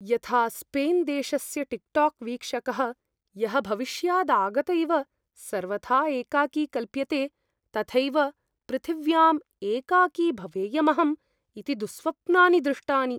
यथा स्पेन्देशस्य टिक्टोक् वीक्षकः, यः भविष्यादागत इव सर्वथा एकाकी कल्प्यते, तथैव पृथिव्याम् एकाकी भवेयमहम् इति दुःस्वप्नानि दृष्टानि।